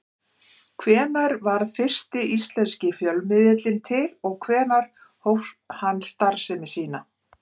Hvenær varð fyrsti íslenski fjölmiðillinn til og hvenær hóf hann starfsemi sína?